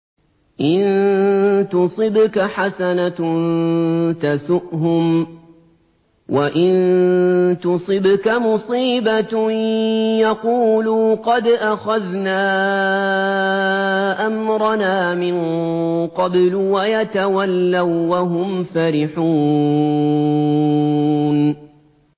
إِن تُصِبْكَ حَسَنَةٌ تَسُؤْهُمْ ۖ وَإِن تُصِبْكَ مُصِيبَةٌ يَقُولُوا قَدْ أَخَذْنَا أَمْرَنَا مِن قَبْلُ وَيَتَوَلَّوا وَّهُمْ فَرِحُونَ